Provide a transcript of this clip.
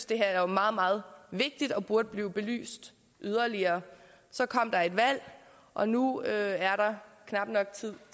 det her er meget meget vigtigt og burde blive belyst yderligere så kom der valg og nu er der knap nok tid